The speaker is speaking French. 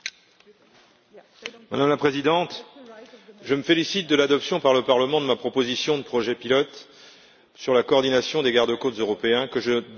Madame la Présidente, je me félicite de l'adoption par le Parlement de la proposition de projet pilote sur la coordination des gardes côtes européens, que je réclame à la Commission depuis